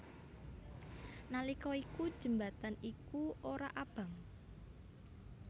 Nalika iku jembatan iku ora abang